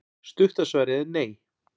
stutta svarið er nei